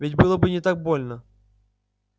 ведь было бы не так больно